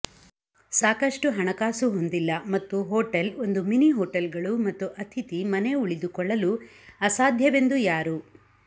ಸಾಕಷ್ಟು ಹಣಕಾಸು ಹೊಂದಿಲ್ಲ ಮತ್ತು ಹೋಟೆಲ್ ಒಂದು ಮಿನಿ ಹೋಟೆಲ್ಗಳು ಮತ್ತು ಅತಿಥಿ ಮನೆ ಉಳಿದುಕೊಳ್ಳಲು ಅಸಾಧ್ಯವೆಂದು ಯಾರು